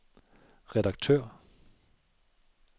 redaktør